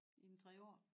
I en 3 år